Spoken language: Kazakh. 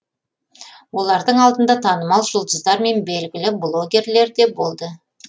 олардың алдында танымал жұлдыздар мен белгілі блогерлер де болды